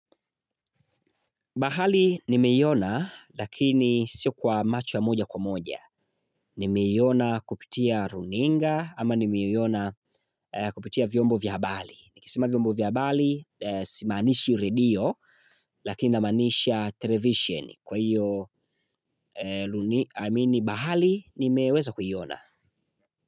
Bahali nimeiona lakini sio kwa macho ya moja kwa moja. Nimeiona kupitia runinga ama nimeiona kupitia vyombo vya habari. Nikisema vyombo vya habari, simaanishi radio lakina maanisha television kwa hiyo, amini, bahali nimeweza kuiona.